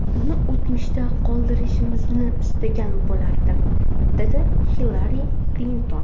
Uni o‘tmishda qoldirishimizni istagan bo‘lardim”, dedi Hillari Klinton.